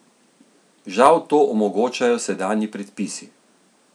Žal to omogočajo sedanji predpisi.